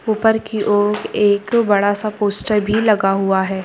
ऊपर की ओर एक बड़ा सा पोस्टर भी लगा हुआ है।